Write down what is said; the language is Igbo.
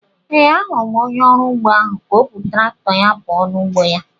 Ee, ahụrụ m onye ọrụ ugbo ahu ka o bu traktọ ahụ puo n'ugbo ya